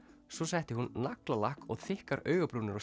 svo setti hún naglalakk og þykkar augabrúnir á